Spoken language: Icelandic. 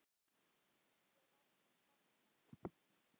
Ég verð þín frænka.